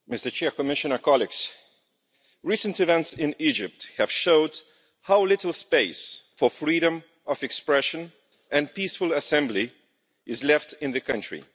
Mr President, Commissioner, colleagues, recent events in Egypt have shown how little space for freedom of expression and peaceful assembly is left in the country.